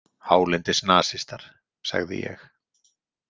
Hálendisnasistar, sagði ég.